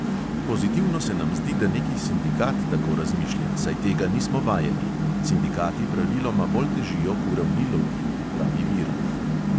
"Pozitivno se nam zdi, da neki sindikat tako razmišlja, saj tega nismo vajeni – sindikati praviloma bolj težijo k uravnilovki," pravi virant.